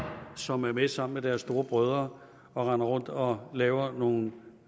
som sammen med deres store brødre render rundt og laver nogle